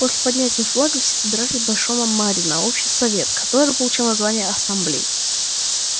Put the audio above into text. после поднятия флага все собирались в большом амбаре на общий совет который получил название ассамблей